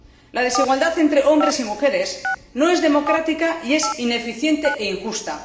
La desigualdad entre hombres y mujeres no es democrática y es ineficiente e injusta.